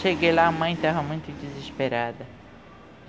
Cheguei lá, a mãe estava muito desesperada.